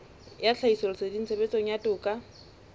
ya tlhahisoleseding tshebetsong ya toka